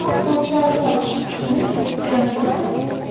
он получается нужен постоянно занят